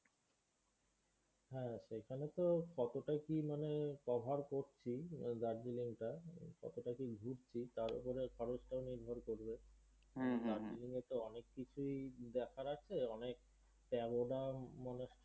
হ্যাঁ, সেইখানে তো কত টা কি মানে cover করছি Darjeeling টায়, কত টা কি ঘুরছি তার ওপরে খরচ টাও নির্ভর করবে। Darjeeling এ তো অনেক কিছুই দেখার আছে অনেক টা অরম মানে,